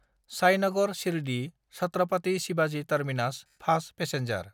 Sainagar शिरदि–छात्रापाटी Shivaji terminus fast passenger